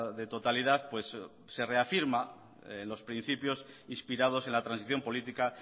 de totalidad pues se reafirma en los principios inspirados en la transición política